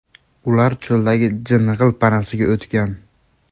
Ular cho‘ldagi jing‘il panasiga o‘tgan.